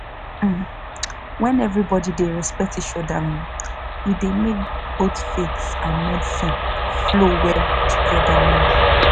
um when everybody dey respect each other um e dey make both faith and medicine flow well together. um